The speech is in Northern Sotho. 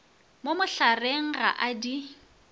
mo mohlareng ga a di